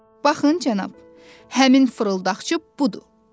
Baxın cənab, həmin fırıldaqçı budur.